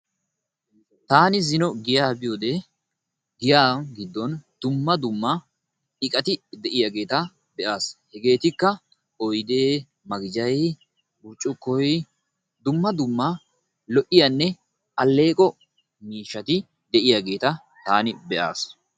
Taani zino giyaa biyode giya giddon dumma dumma iqati de'iyaageeta be'aas. Hegeetikka; oydee, maqijay, burccukkoy, dumma dumma lo''iyaanne alleeqo miishshati de'iyaageeta taani be'aas.